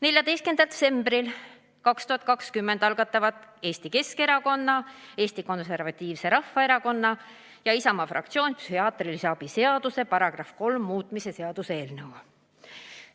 14. detsembril 2020 algatasid Eesti Keskerakonna, Eesti Konservatiivse Rahvaerakonna ja Isamaa fraktsioon psühhiaatrilise abi seaduse § 3 muutmise seaduse eelnõu.